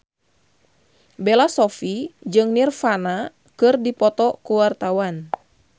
Bella Shofie jeung Nirvana keur dipoto ku wartawan